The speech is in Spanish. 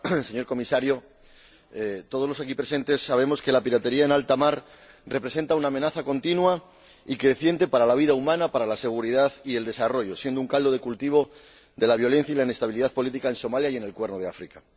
Señora Presidenta, señor Comisario, todos los aquí presentes sabemos que la piratería en altamar representa una amenaza continua y creciente para la vida humana, para la seguridad y el desarrollo, siendo un caldo de cultivo de la violencia y la inestabilidad política en Somalia y en el Cuerno de África.